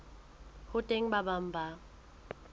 ho teng ba bang ba